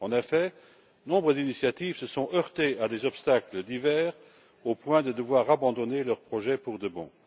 En effet, nombre d'initiatives se sont heurtées à des obstacles divers au point de devoir abandonner leur projet pour de bon.